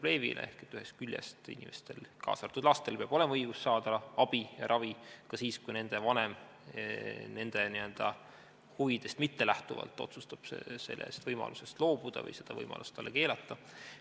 Ehk ühest küljest inimesel, kaasa arvatud lapsel, peab olema õigus saada abi ja ravi ka siis, kui tema vanem tema huvidest mittelähtuvalt otsustab sellest võimalusest loobuda või seda võimalust talle keelata.